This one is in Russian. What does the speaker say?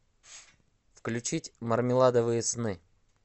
включить мармеладовые сны